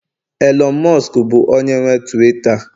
Elon musk bụ onye nwe Tuwiita